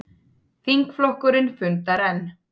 Þingflokkurinn fundar enn